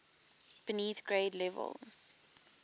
beneath grade levels